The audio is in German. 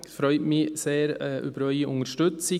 Ich freue mich sehr über Ihre Unterstützung.